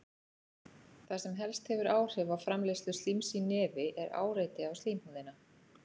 Það sem helst hefur áhrif á framleiðslu slíms í nefi er áreiti á slímhúðina.